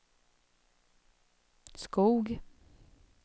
Skog